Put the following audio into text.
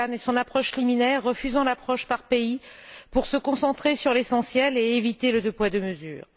Kukan, et son approche liminaire, refusant l'approche par pays, pour se concentrer sur l'essentiel et éviter les deux poids, deux mesures.